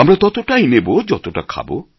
আমরা ততটাই নেব যতটা খাব